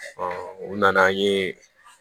u nana an ye